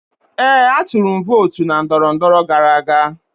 Ee, atụrụ m vootu na ndọrọndọrọ gara aga.